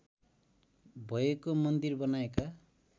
भएको मन्दिर बनाएका